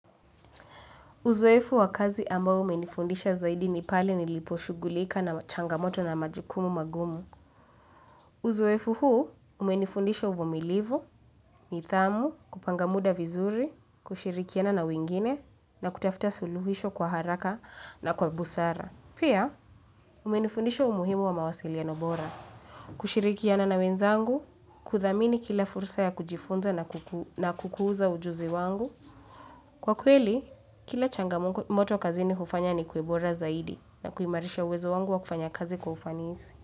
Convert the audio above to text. Uzoefu wa kazi ambao umenifundisha zaidi ni pale niliposhugulika na changamoto na majukumu magumu. Uzoefu huu umenifundisha uvumilivu, nidhamu, kupanga muda vizuri, kushirikiana na wengine na kutafuta suluhisho kwa haraka na kwa busara. Pia umenifundisha umuhimu wa mawasiliano bora, kushirikiana na wenzangu, kudhamini kila fursa ya kujifunza na kukuza ujuzi wangu. Kwa kweli, kila changamoto kazini hufanya ni kuwe bora zaidi na kuimarisha uwezo wangu wa kufanya kazi kwa ufanisi.